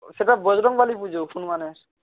সেটা বজরংবলীর পুজো হনুমানের